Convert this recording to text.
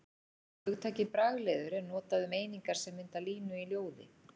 Hugtakið bragliður er notað um einingar sem mynda línu í ljóði.